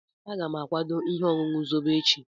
Aga m akwado ihe ọṅụṅụ Zobo echi.